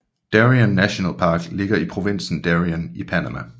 Darien nationalpark ligger i provinsen Darien i Panama